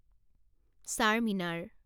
Charminar